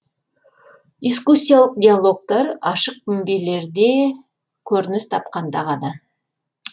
дискуссиялық диалогтар ашық мінберлерде көрініс тапқанда ғана